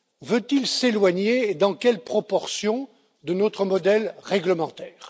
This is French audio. Veut il s'éloigner, et dans quelle proportion, de notre modèle réglementaire?